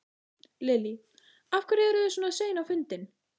Lillý: Af hverju eru þið svona sein á fundin?